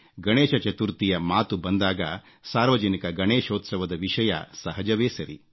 ಗಣೇಶ ಚತುರ್ಥಿಯ ಮಾತು ಬಂದಾಗ ಸಾರ್ವಜನಿಕ ಗಣೇಶೋತ್ಸವದ ವಿಷಯ ಸಹಜವೇ ಸರಿ